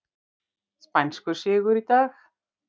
Spænskur sigur í dag